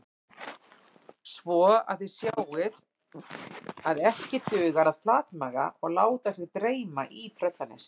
Svo að þið sjáið að ekki dugar að flatmaga og láta sig dreyma í Tröllanesi